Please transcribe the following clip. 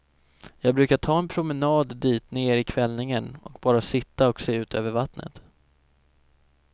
Jag brukar ta en promenad dit ner i kvällningen och bara sitta och se utöver vattnet.